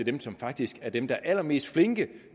dem som faktisk er dem der er allermest flinke